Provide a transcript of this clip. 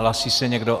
Hlásí se někdo?